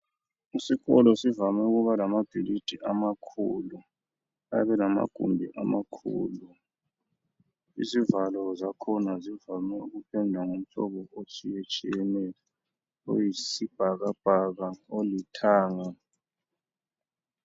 Isikolo sivame ukuba lamabhilidi amakhulu! Ayabe elamagumbi amakhulu! Izivalo zakhona zivame ukupendwa ngomhlobo otshiyetshiyeneyo. Oyisibhakabhaka, olithanga.